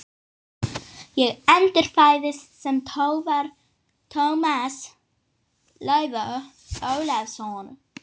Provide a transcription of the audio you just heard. Ég endurfæðist sem Tómas Leifur Ólafsson.